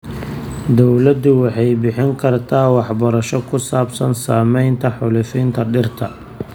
Dawladdu waxay bixin kartaa waxbarasho ku saabsan saamaynta xaalufinta dhirta.